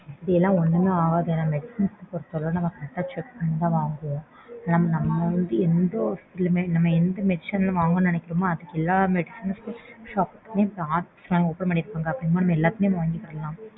அப்படிலாம் ஒன்னும் ஆகாது. medicines பொருத்தளவுல நம்ம correct ஆ check பண்ணி தான் வாங்குவோம். நம்ம வந்துட்டு எந்த hospital லயுமே எந்த medicines வாங்கணும்ன்னு நினைக்கறோமோ அது எல்லா medical shop லயுமே online shop open பண்ணிருபாங்க. அப்படிங்கும்போது நம்ம எல்லாத்துலையும் வாங்கிக்கலாம்